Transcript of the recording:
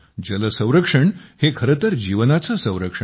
जल संरक्षण हे खरेतर जीवनाचे संरक्षण आहे